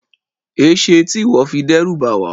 Ẽṣe ti iwọ fi dẹruba wa?